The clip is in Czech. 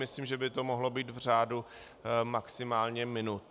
Myslím, že by to mohlo být v řádu maximálně minut.